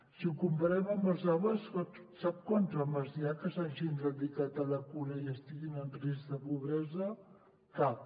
si ho comparem amb els homes sap quants homes hi ha que s’hagin dedicat a la cura i estiguin en risc de pobresa cap